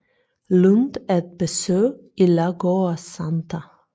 Lund et besøg i Lagoa Santa